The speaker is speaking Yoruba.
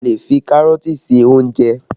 A lè fi Kárọ̀tì ṣe ìrẹsì